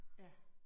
Ja